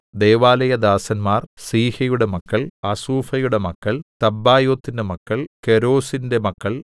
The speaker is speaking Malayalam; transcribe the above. ദൈവാലയദാസന്മാർ സീഹയുടെ മക്കൾ ഹസൂഫയുടെ മക്കൾ തബ്ബായോത്തിന്റെ മക്കൾ കേരോസിന്റെ മക്കൾ